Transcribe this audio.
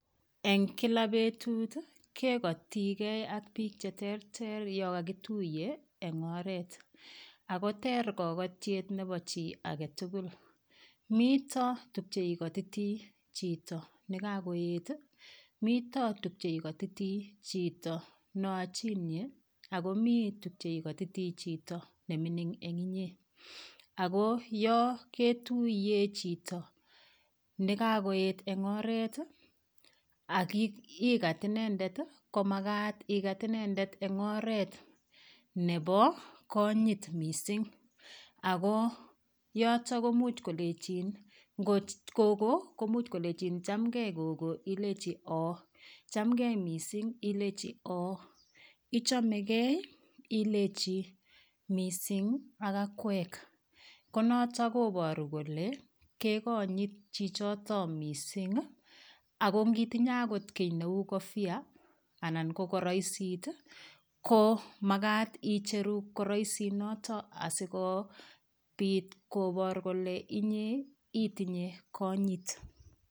Eng' kila betut kekotigei ak biik cheterter yo kakituye eng' oret akoter kakotyet nebo chi agetugul mito tukcheikotiti chito nikakoet mito tukche ikotiti chito neochonye akomi tukche ikotiti chito nemining' eng' inye ako yo ketuiye chito nikakoet eng' oret akikat inendet komakat ikat inendet eng' oret nebo konyit mising' ako yotok komuuch kolechin ngo gogo komuch kolechin chamgei gogo ilechi oo chamgei mising' ilechi oo ichomegei ilechi ming' ak akowek konoto koboru kole kekonyit chichito mising' ako ngitinye akot kii neu kofia anan ko koroisit ko makat icheru koroisit noto asikobit koboru kole inye itinye konyit